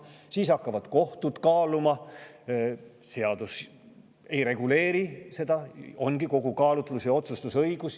Ja siis hakkavad kohtud seda kaaluma, sest seadus ei reguleeri seda, vaid on kaalutlus‑ ja otsustusõigus.